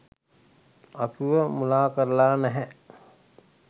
අපිව මුලා කරලා නෑ.